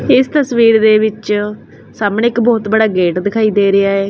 ਇਸ ਤਸਵੀਰ ਦੇ ਵਿੱਚ ਸਾਹਮਣੇ ਇੱਕ ਬਹੁਤ ਬੜਾ ਗੇਟ ਦਿਖਾਈ ਦੇ ਰਿਹਾ ਹੈ।